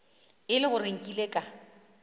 e le gore nkile ka